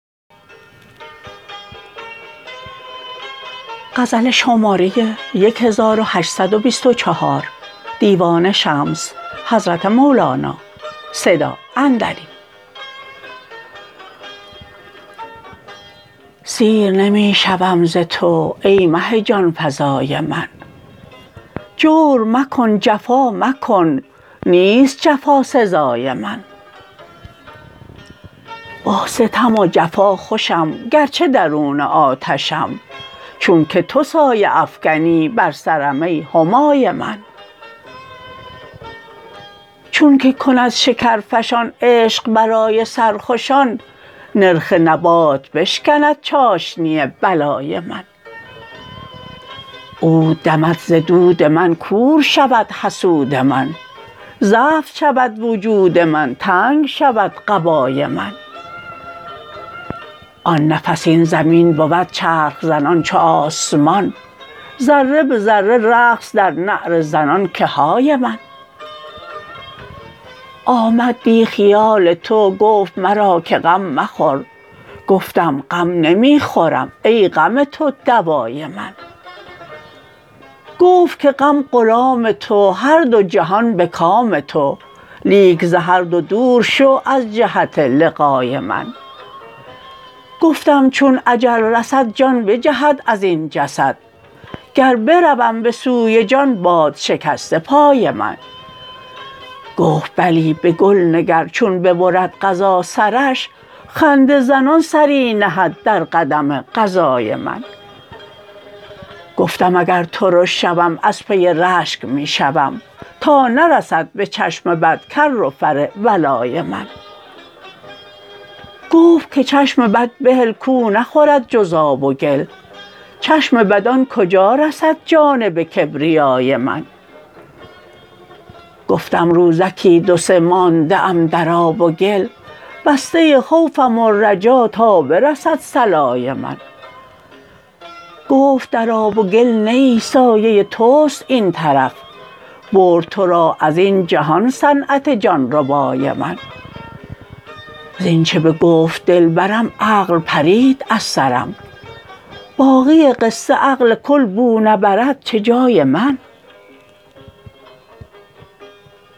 سیر نمی شوم ز تو ای مه جان فزای من جور مکن جفا مکن نیست جفا سزای من با ستم و جفا خوشم گرچه درون آتشم چونک تو سایه افکنی بر سرم ای همای من چونک کند شکرفشان عشق برای سرخوشان نرخ نبات بشکند چاشنی بلای من عود دمد ز دود من کور شود حسود من زفت شود وجود من تنگ شود قبای من آن نفس این زمین بود چرخ زنان چو آسمان ذره به ذره رقص در نعره زنان که های من آمد دی خیال تو گفت مرا که غم مخور گفتم غم نمی خورم ای غم تو دوای من گفت که غم غلام تو هر دو جهان به کام تو لیک ز هر دو دور شو از جهت لقای من گفتم چون اجل رسد جان بجهد از این جسد گر بروم به سوی جان باد شکسته پای من گفت بلی به گل نگر چون ببرد قضا سرش خنده زنان سری نهد در قدم قضای من گفتم اگر ترش شوم از پی رشک می شوم تا نرسد به چشم بد کر و فر ولای من گفت که چشم بد بهل کو نخورد جز آب و گل چشم بدان کجا رسد جانب کبریای من گفتم روزکی دو سه مانده ام در آب و گل بسته خوفم و رجا تا برسد صلای من گفت در آب و گل نه ای سایه توست این طرف برد تو را از این جهان صنعت جان ربای من زینچ بگفت دلبرم عقل پرید از سرم باقی قصه عقل کل بو نبرد چه جای من